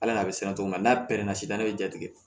Ala n'a bɛ siran cogo min na n'a pɛrɛnna sisan n'a bɛ ja tigɛ